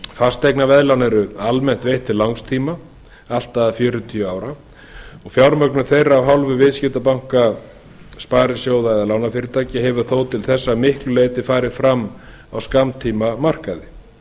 fasteignaveðlán eru almennt veitt til langs tíma allt að fjörutíu ára fjármögnun þeirra af hálfu viðskiptabanka sparisjóða eða lánafyrirtækja hefur þó til þessa að miklu leyti farið fram á skammtímamarkaði það er